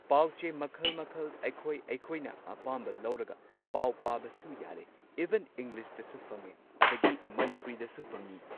ꯄꯥꯎꯆꯦ ꯃꯈꯜ ꯃꯈꯜ ꯑꯩꯈꯣꯏ ꯑꯩꯈꯣꯏꯅ ꯑꯄꯥꯝꯕ ꯂꯧꯔꯒ ꯄꯥꯎ ꯄꯥꯕꯁꯨ ꯌꯥꯔꯦ ꯏꯚꯟ ꯏꯪꯂꯤꯁꯇꯁꯨ ꯐꯪꯉꯦ ꯑꯗꯒꯤ ꯃꯅꯤꯄꯨꯔꯤꯗꯁꯨ ꯐꯪꯉꯤ꯫